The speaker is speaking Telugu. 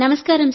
నమస్కారం